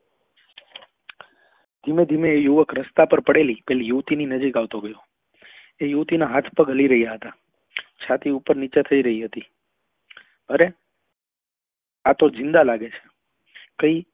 ધીમે ધીમે એ યુવક રસ્તા પર પડેલી પેલી યુવતી ની નજીક આવતો રહ્યો એ યુવતી ના હાથ પગ હલી રહ્યા હતા છાતી ઉપર નીચે થઇ રહી હતી અરે આતો ઝીંદા લાગે છે કહી